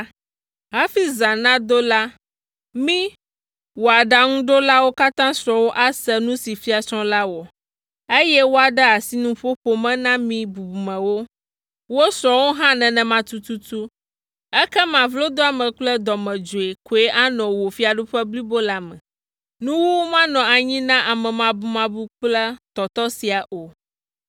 Hafi zã nado la, mí, wò aɖaŋuɖolawo katã srɔ̃wo ase nu si fiasrɔ̃ la wɔ, eye woade asi nuƒoƒo me na mí bubumewo, wo srɔ̃wo hã nenema tututu, ekema vlodoame kple dɔmedzoe koe anɔ wò fiaɖuƒe blibo la me. Nuwuwu manɔ anyi na amemabumabu kple tɔtɔ sia o,